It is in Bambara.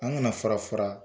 An kana fara fara